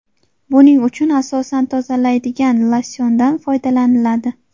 Buning uchun asosan tozalaydigan losyondan foydalaniladi.